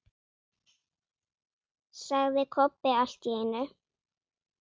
sagði Kobbi allt í einu.